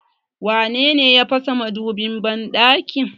Wanene ya fasa madubin banɗakin?